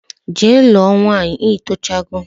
Jee ruo nwaanyi itocha go